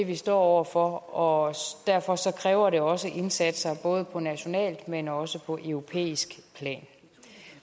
vi står over for og derfor kræver det også indsatser både på nationalt men også på europæisk plan